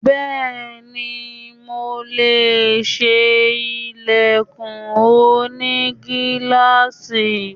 Bẹ́ẹ̀ni, mo lè ṣe ilẹ̀kùn oní gíláàsì.